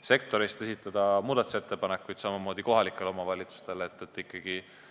sektori esindajatel, samamoodi kohalikel omavalitsustel esitada muudatusettepanekuid.